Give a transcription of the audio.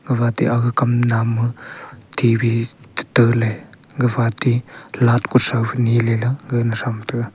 gafa aate aga kam nam ma T_V chi taale gafa aate light kuthau phai neele la gagle tham taga.